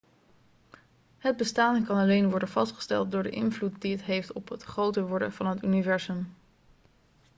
het bestaan kan alleen worden vastgesteld door de invloed die het heeft op het groter worden van het universum